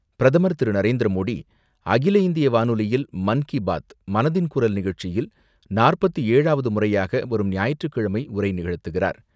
பிரதமர் திரு.நரேந்திரமோடி, அகில இந்திய வானொலியில் மன் கி பாத் மனதின் குரல் நிகழ்ச்சியில் நாற்பத்து ஏழாவது முறையாக வரும் ஞாயிற்றுக்கிழமை உரை நிகழ்த்துகிறார்.